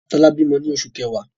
Tola bímọ ní oṣù kẹwa.